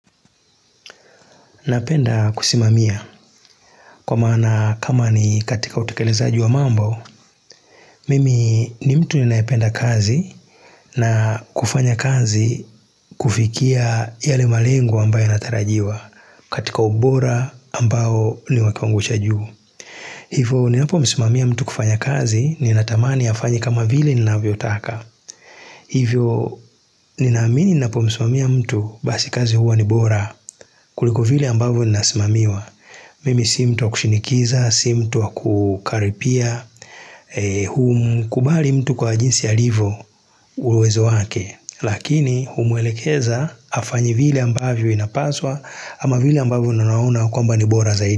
Napenda kusimamia, kwa mana kama ni katika utekelezaji wa mambo, mimi ni mtu ninayependa kazi na kufanya kazi kufikia yale malengo ambayo yanatarajiwa, katika ubora ambao ni wa kiwango cha juu. Hivyo, ninapomsimamia mtu kufanya kazi, ninatamani afanye kama vile ninavyotaka. Hivyo, ninaamini ninapomsimamia mtu basi kazi huwa ni bora, kuliko vile ambavo ninasimamiwa. Mimi si mtu wa kushinikiza, si mtu kukaripia, humkubali mtu kwa jinsi alivyo uwezo wake Lakini humwelekeza afanye vile ambavyo inapaswa ama vile ambavyo ninaona kwamba ni bora zaidi.